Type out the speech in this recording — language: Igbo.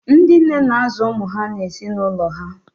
Ndị nne na-azụ ụmụ ha na ezinụlọ ha.